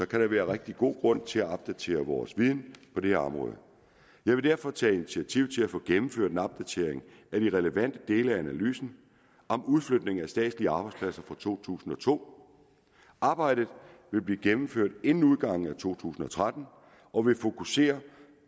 kan der være rigtig god grund til at opdatere vores viden på det her område jeg vil derfor tage initiativ til at få gennemført en opdatering af de relevante dele af analysen om udflytning af de statslige arbejdspladser fra to tusind og to arbejdet vil blive gennemført inden udgangen af to tusind og tretten og vil fokusere